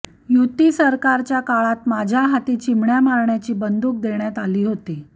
युती सरकारच्या काळात माझ्या हाती चिमण्या मारण्याची बंदूक देण्यात आली होती